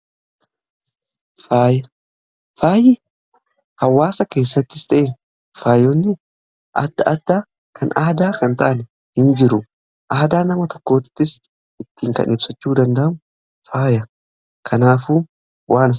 Faaya: faayi hawaasa keessattis ta'e, faayonni adda addaa kan aadaa kan hin taane hin jiru. Aadaa nama tokkoottis ittiin kan ibsachuu danda'amu faaya. Kanaafuu